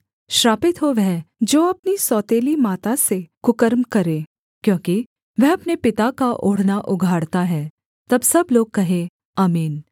श्रापित हो वह जो अपनी सौतेली माता से कुकर्म करे क्योंकि वह अपने पिता का ओढ़ना उघाड़ता है तब सब लोग कहें आमीन